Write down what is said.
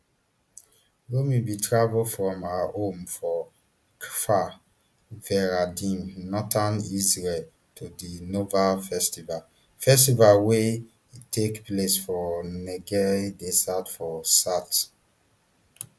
romi bin travel from her home for kfar veradim northern israel to di nova festival festival wey take place for negev desert for south